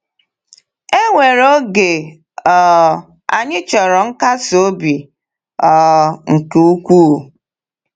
E nwere oge um anyị chọrọ nkasi obi um nke ukwuu.